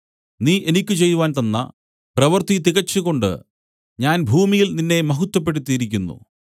നീ എനിക്ക് ചെയ്‌വാൻ തന്ന പ്രവൃത്തി തികച്ചുകൊണ്ട് ഞാൻ ഭൂമിയിൽ നിന്നെ മഹത്വപ്പെടുത്തിയിരിക്കുന്നു